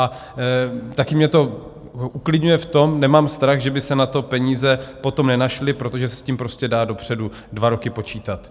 A taky mě to uklidňuje v tom, nemám strach, že by se na to peníze potom nenašly, protože se s tím prostě dá dopředu dva roky počítat.